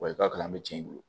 Wa i ka kalan an bɛ cɛ i bolo